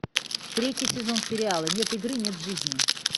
третий сезон сериала нет игры нет жизни